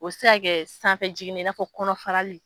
O te se ka kɛ sanfɛ jigin nin ye i n'a fɔ kɔnɔ farali.